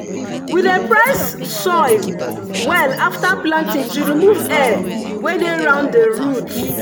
we dey press soil well after planting to remove air wey dey round the root.